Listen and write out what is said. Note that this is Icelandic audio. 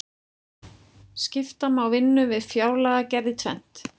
skipta má vinnu við fjárlagagerð í tvennt